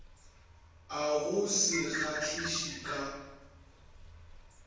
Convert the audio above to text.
a go se kgahliše ka